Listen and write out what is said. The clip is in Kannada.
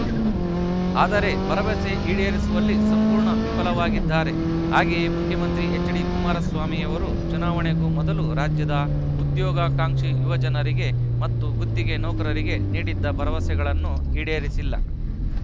ಆದರೆ ಭರವಸೆ ಈಡೇರಿಸುವಲ್ಲಿ ಸಂಪೂರ್ಣ ವಿಫಲವಾಗಿದ್ದಾರೆ ಹಾಗೆಯೇ ಮುಖ್ಯಮಂತ್ರಿ ಎಚ್‌ಡಿ ಕುಮಾರಸ್ವಾಮಿಯವರು ಚುನಾವಣೆಗೂ ಮೊದಲು ರಾಜ್ಯದ ಉದ್ಯೋಗಾಕಾಂಕ್ಷಿ ಯುವಜನರಿಗೆ ಮತ್ತು ಗುತ್ತಿಗೆ ನೌಕರರಿಗೆ ನೀಡಿದ್ದ ಭರವಸೆಗಳನ್ನು ಈಡೇರಿಸಿಲ್ಲ